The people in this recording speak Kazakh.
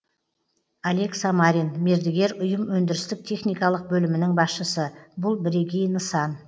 олег самарин мердігер ұйым өндірістік техникалық бөлімінің басшысы бұл бірегей нысан